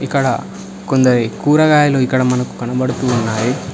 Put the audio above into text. క్కడ కొందరి కూరగాయలు ఇక్కడ మనకు కనబడుతూ ఉన్నాయి.